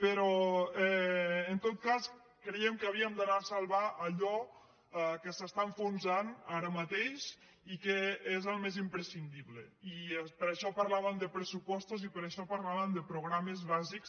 però en tot cas creiem que havíem d’anar a salvar allò que s’està enfonsant ara mateix i que és el més imprescindible i per això parlàvem de pressupostos i per això parlàvem de programes bàsics